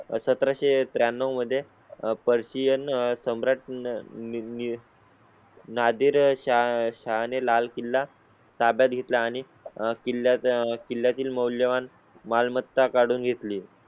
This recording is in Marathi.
सतराशे त्र्याण्णव मध्ये पर्शियन सम्राट न्या. नादिरशाह ने लाल किल्ला ताब्यात घेतला आणि किल्ल्या चा किल्ल्या तील मौल्यवान मालमत्ता काढून घेतली.